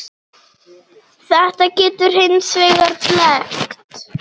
Þetta getur hins vegar blekkt.